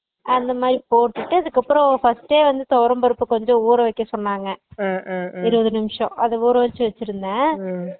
அந்த மாதிரி போட்டுட்டு அதுக்கு அப்பறோ first டே தொவறம் பருப்பு கொஞ்சோ ஊற வெக்க சொன்னாங்க இருவது நிமிஷம் அத ஊற வெச்சு வெச்சுருந்த